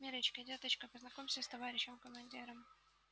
миррочка деточка познакомься с товарищем командиром